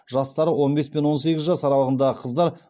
жастары он бес пен он сегіз жас аралығындағы қыздар